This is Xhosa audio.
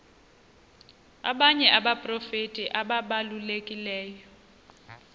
abanye abaprofeti ababalulekileyo